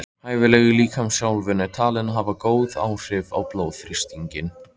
Hæfileg líkamsþjálfun er talin hafa góð áhrif á blóðþrýsting.